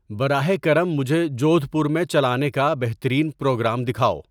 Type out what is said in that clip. براہ کرم مجھے جودھ پور میں چلانے کا بہترین پروگرام دکھاؤ